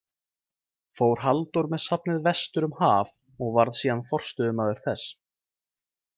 Fór Halldór með safnið vestur um haf og varð síðan forstöðumaður þess.